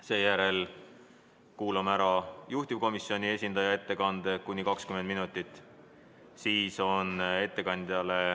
Seejärel kuulame ära juhtivkomisjoni esindaja ettekande, samuti kuni 20 minutit.